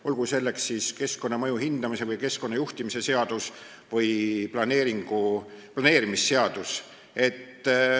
Nimetan näiteks keskkonnamõju hindamise ja keskkonnajuhtimissüsteemi seadust ning planeerimisseadust.